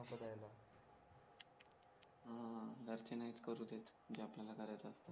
घरचे नाहीच करू देत जे आपल्याला करायचं असत